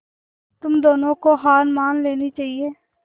तुम दोनों को हार मान लेनी चाहियें